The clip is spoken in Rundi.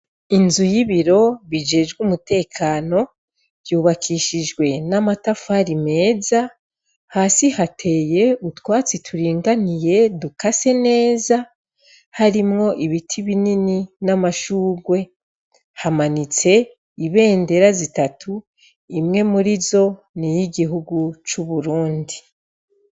Inzu y'ibiro bijejwe umutekano ryubakishijwe n'amatafari meza hasi hateye utwatsi turinganiye dukase neza harimwo ibiti binini n'amashurwe hamanitse ibendera zitatu imwe muri zo ni yo igihugu c'uburundi.